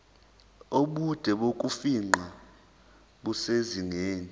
ubude bokufingqa busezingeni